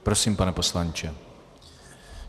Prosím, pane poslanče.